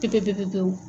Tɛkɛ pe pe pewu